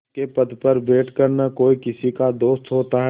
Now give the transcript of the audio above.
पंच के पद पर बैठ कर न कोई किसी का दोस्त होता है